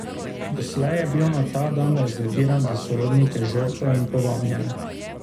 Doslej je bil na ta dan rezerviran za sorodnike žrtev in povabljene.